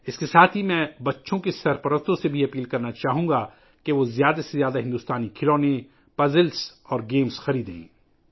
اس کے ساتھ، میں والدین سے یہ بھی گزارش کرنا چاہوں گا کہ وہ زیادہ سے زیادہ بھارتی کھلونے، پہیلیاں اور گیمز خریدیں